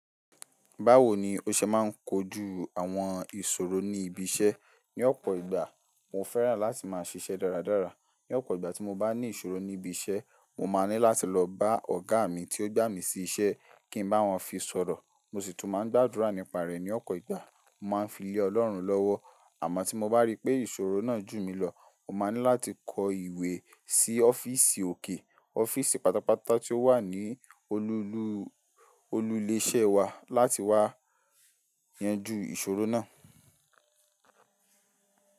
Báwo ni o ṣe máa ń kojú àwọn ìṣòro ní ibi iṣẹ́? Ní ọ̀pọ̀ ìgbà, mo fẹ́ràn láti máa ṣiṣẹ́ dáradára. Ní ọ̀pọ̀ ìgbà tí mo bá ní ìṣòro ní ibi iṣẹ́, mo máa ní láti lọ bá ọ̀gá mi tí ó gbà mí sí iṣẹ́ kí n bá wọn fi sọ̀rọ̀. Mo sì tún máa ń gbàdúrà nípa rẹ̀ ní ọ̀pọ̀ ìgbà. Mo máa ń fi lé Ọlọ́run lọ́wọ́. Àmọ́ tí mo bá rí pé ìṣòro náà jù mí lọ, mo máa ní láti kọ ìwé sí ọ́fíìsì òkè, ọ́fíìsì pátápátá tí ó wà ní olù-- olùlé iṣẹ́ wa láti wá yanjú ìṣòro náà.